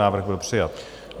Návrh byl přijat.